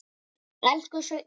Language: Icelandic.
Elsku Sveinn minn.